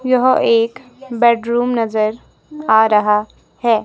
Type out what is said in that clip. यह एक बेडरूम नजर आ रहा हैं।